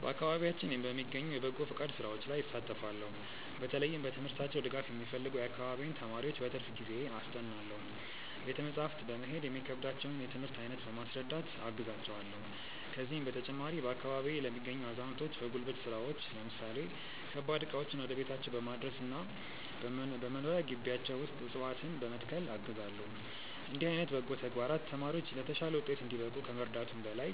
በአካባቢያችን በሚገኙ የበጎ ፈቃድ ሥራዎች ላይ እሳተፋለው። በተለይም በትምህርታቸው ድጋፍ የሚፈልጉ የአካባቢዬን ተማሪዎች በትርፍ ጊዜዬ አስጠናለው። ቤተ መጻሕፍት በመሄድ የሚከብዳቸውን የትምህርት አይነት በማስረዳት አግዛቸዋለው። ከዚህም በተጨማሪ፣ በአካባቢዬ ለሚገኙ አዛውንቶች በጉልበት ሥራዎች ለምሳሌ ከባድ ዕቃዎችን ወደ ቤታቸው በማድረስና በመኖሪያ ግቢያቸው ውስጥ ዕፅዋትነ በመትከል አግዛለው። እንዲህ ዓይነት በጎ ተግባራት ተማሪዎች ለተሻለ ውጤት እንዲበቁ ከመርዳቱም በላይ፣